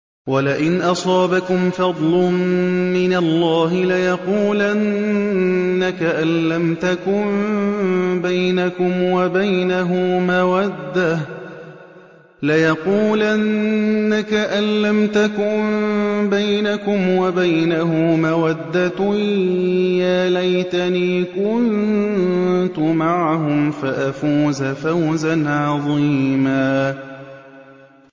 وَلَئِنْ أَصَابَكُمْ فَضْلٌ مِّنَ اللَّهِ لَيَقُولَنَّ كَأَن لَّمْ تَكُن بَيْنَكُمْ وَبَيْنَهُ مَوَدَّةٌ يَا لَيْتَنِي كُنتُ مَعَهُمْ فَأَفُوزَ فَوْزًا عَظِيمًا